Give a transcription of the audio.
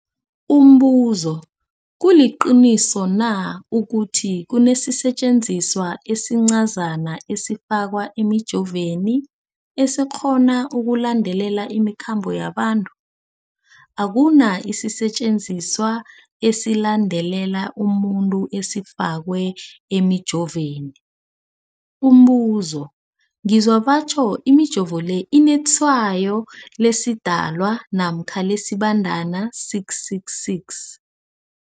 Umbuzo, kuliqiniso na ukuthi kunesisetjenziswa esincazana esifakwa emijovweni, esikghona ukulandelela imikhambo yabantu? Akuna sisetjenziswa esilandelela umuntu esifakwe emijoveni. Umbuzo, ngizwa batjho imijovo le inetshayo lesiDalwa namkha lesiBandana 666.